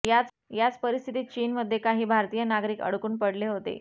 याच परिस्थितीत चीन मध्ये काही भारतीय नागरिक अडकून पडले होते